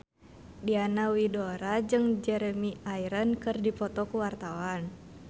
Diana Widoera jeung Jeremy Irons keur dipoto ku wartawan